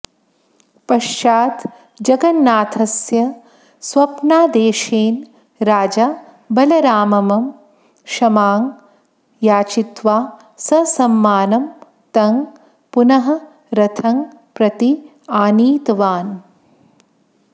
पश्चात् जगन्नाथस्य स्वप्नादेशेन राजा बलरामं क्षमां याचित्वा ससम्मानं तं पुनः रथं प्रति आनीतवान्